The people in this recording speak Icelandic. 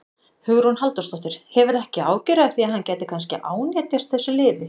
Hugrún Halldórsdóttir: Hefurðu ekki áhyggjur af því að hann gæti kannski ánetjast þessu lyfi?